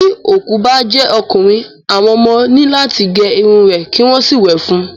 Tí òkú bá jẹ́ ọkùnrin, àwọn ọmọ ní láti gé irun rẹ̀ kí wọ́n sì wẹ̀ fún un.